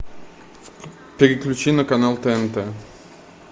переключи на канал тнт